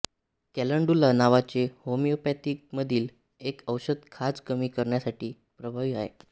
calendula नावाचे होमिओपॅथीमधील एक औषध खाज कमी करण्यासाठी प्रभावी आहे